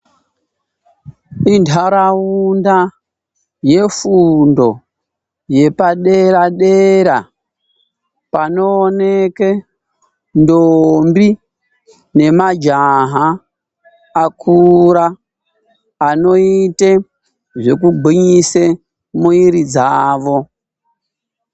Inharaunda yefundo yepadera-dera panooneke ndombi nemajaha akura anoite zvekugwinyise mwiri dzawo.